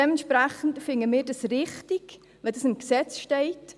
Dementsprechend finden wir es richtig, wenn dies im Gesetz steht.